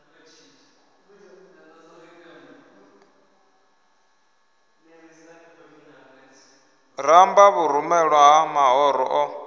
ramba vhurumelwa ha mahoro o